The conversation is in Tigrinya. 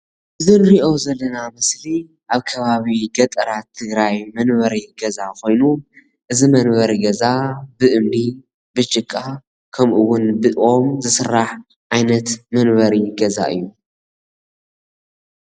እዚ ንሪኦ ዘለና ምስሊ አብ ከባቢ ገጠራት ትግራይ መንበሪ ገዛ ኮይኑ, እዚ መንበሪ ገዛ ብእምኒ ብጭቃ ከምኡ እውን ብኦም ዝስራሕ ዓይነት መንበሪ ገዛ እዩ፡፡